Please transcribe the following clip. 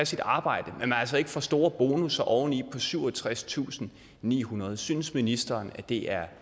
sit arbejde og at man altså ikke får store bonusser oveni på syvogtredstusinde og nihundrede kroner synes ministeren at det er